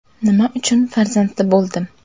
Nima uchun farzandli bo‘ldim?